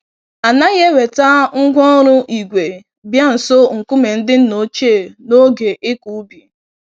Anaghị eweta ngwá ọrụ ígwè bịa nso nkume ndị nna ochie n'oge ịkọ ubi.